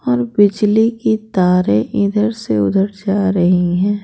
और बिजली की तारे इधर से उधर जा रही हैं।